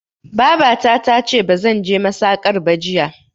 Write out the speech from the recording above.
Babata tace bazan je masakar ba jiya